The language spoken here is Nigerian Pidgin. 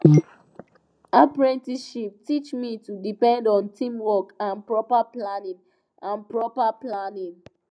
apprenticeship teach me to depend on teamwork and proper planning and proper planning